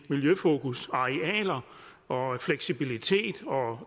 miljøfokus arealer og fleksibilitet og